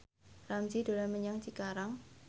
Ramzy dolan menyang Cikarang